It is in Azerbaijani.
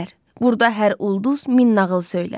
Burda hər ulduz min nağıl söylər.